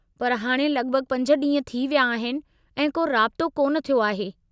पर हाणे लगि॒भगि॒ पंज ॾींहं थी विया आहिनि ऐं को राबितो कोन थियो आहे।